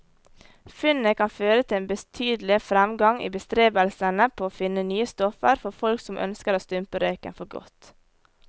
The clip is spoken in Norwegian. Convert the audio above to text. Funnet kan føre til en betydelig fremgang i bestrebelsene på å finne nye stoffer for folk som ønsker å stumpe røyken for godt.